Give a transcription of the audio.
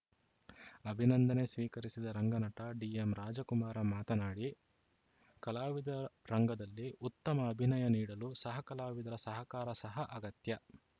ಅಭಿನಂದನೆ ಸ್ವೀಕರಿಸಿದ ರಂಗನಟ ಡಿಎಂರಾಜಕುಮಾರ ಮಾತನಾಡಿ ಕಲಾವಿದ ರಂಗದಲ್ಲಿ ಉತ್ತಮ ಅಭಿನಯ ನೀಡಲು ಸಹಕಲಾವಿದರ ಸಹಕಾರ ಸಹ ಅಗತ್ಯ